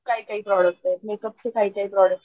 काही काही product makeup चे काही काही प्रॉडक्ट्स